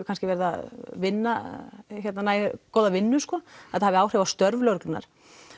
verið að vinna nógu góða vinnu þetta hafi áhrif á störf lögreglunnar